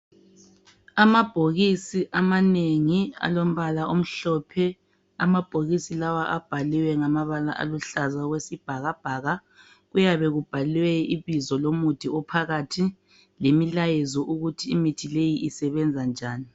Amabhokisi amanengi alombala omhlophe, amabhokisi lawa abhaliwe ngamabala aluhlaza okwesibhakabhaka kuyabe kubhalwe ibizo lomuthi ophakathi lemilayezo ukuthi imithi le isebenza njani.